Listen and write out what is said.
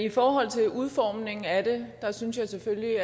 i forhold til udformningen af det synes jeg selvfølgelig